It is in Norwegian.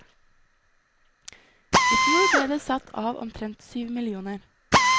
I fjor ble det satt av omtrent syv millioner.